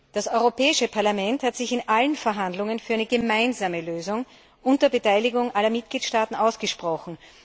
Das Europäische Parlament hat sich in allen Verhandlungen für eine gemeinsame Lösung unter Beteiligung aller Mitgliedstaaten ausgesprochen.